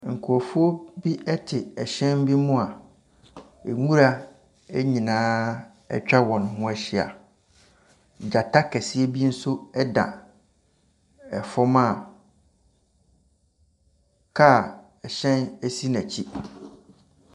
Nkurɔfo ye hyɛn bi mu a nwura nyinaa atwa wɔn ho ahyia. Gyata kɛseɛ bi nso da fam a kaa, hyɛn si n’akyi.